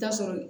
Taa sɔrɔ